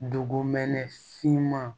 Dugumɛnɛ finman